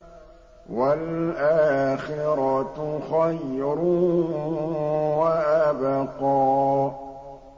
وَالْآخِرَةُ خَيْرٌ وَأَبْقَىٰ